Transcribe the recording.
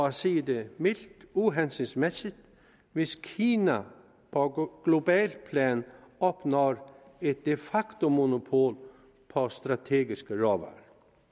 at sige det mildt uhensigtsmæssigt hvis kina på globalt plan opnår et de facto monopol på strategiske råvarer